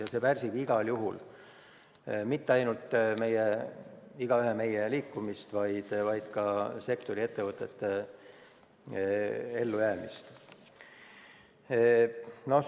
Ja see ei pärsi mitte ainult meie igaühe liikumist, vaid ka sektori ettevõtete ellujäämist.